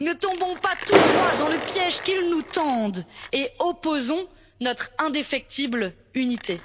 Ne tombons pas tout droit dans le piège qu'ils nous tendent et opposons notre indéfectible unité.